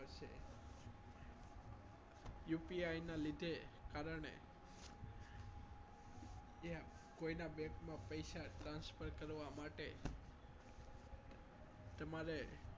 UPI ના લીધે કારણે અત્યારે કોઈના bank માં પૈસા transfer કરવા માટે તમારે